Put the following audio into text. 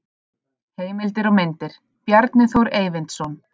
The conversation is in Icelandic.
Heimildir og myndir: Bjarni Þór Eyvindsson.